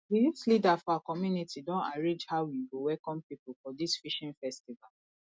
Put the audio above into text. di youth leader for our community don arrange how we go welcome people for dis fishing festival